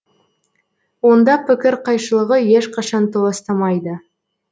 онда пікір қайшылығы ешқашан толастамайды